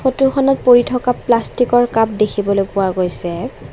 ফটোখনত পৰি থকা প্লাষ্টিকৰ কাপ দেখিবলৈ পোৱা গৈছে।